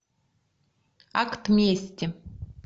акт мести